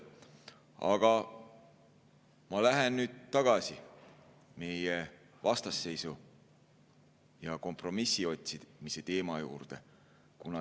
Aga ma lähen nüüd tagasi meie vastasseisu ja kompromissi otsimise teema juurde.